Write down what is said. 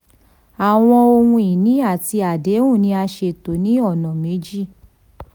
àwọn ohun ìní àti àdéhùn ni a ṣètò ní ọ̀nà méjì.